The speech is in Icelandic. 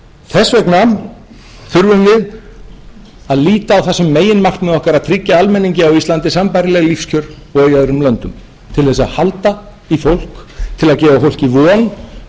þess vegna þurfum við að líta á það sem meginmarkmið okkar að tryggja almenningi á íslandi sambærileg lífskjör og í öðrum löndum til þess að halda í fólk til að gefa fólki von um að það sé þess virði